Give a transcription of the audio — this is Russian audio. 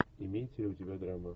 имеется ли у тебя драма